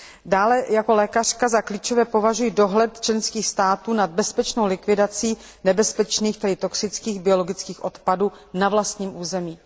Dále jako lékařka za klíčové považuji dohled členských států nad bezpečnou likvidací nebezpečných, tedy toxických, biologických odpadů na vlastním území.